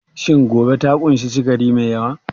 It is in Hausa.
Shin goba ta ƙunshi sukari mai yawa?